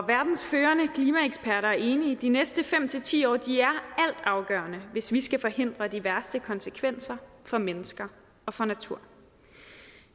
verdens førende klimaeksperter er enige de næste fem ti år er altafgørende hvis vi skal forhindre de værste konsekvenser for mennesker og for natur